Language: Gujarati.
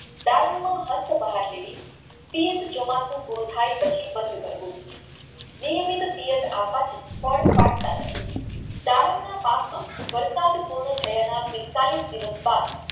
દાડમ માં હકતબહાર લેવી તિયાત જામતું થઈ પછી બંધ કરવું નિયમિત તિયાત આપવાથી ફળ પાકતા નથી દાડમના પાકમાં પિસ્તાળીશ દિવસ બાદ